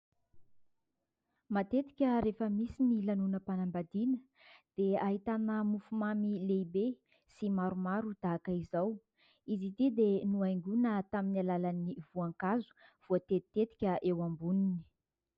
Matetika rehefa misy ny lanonanam-panambadiana dia ahitana mofomamy lehibe sy maromaro tahaka izao. Izy itỳ dia nohaingoana tamn'ny alalan'ny voankazo voatetitetika eo amboniny.